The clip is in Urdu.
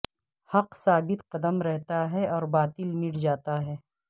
حق ثابت قدم رہتا ہے اور باطل مٹ جاتا ہے